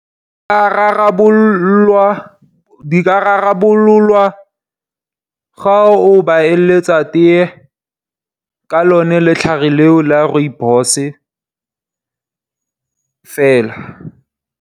Di ka rarabolwa ga o ba eletsa tee ka lone letlhare leo la Rooibos fela.